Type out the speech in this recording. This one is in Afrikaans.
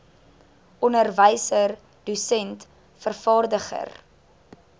onderwyser dosent vervaardiger